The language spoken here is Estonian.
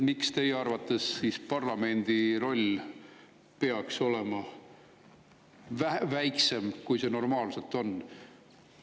Miks teie arvates parlamendi roll peaks olema väiksem, kui see normaalselt on?